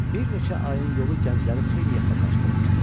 Bir neçə ayın yolu gəncləri xeyli yaxınlaşdırmışdı.